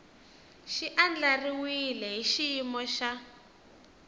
xi andlariwile hi xiyimo xa